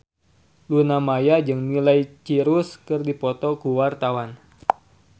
Luna Maya jeung Miley Cyrus keur dipoto ku wartawan